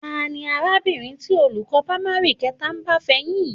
Ta ni arábìnrin tí olùkọ́ pámárì kẹta ń bá fẹyín yìí?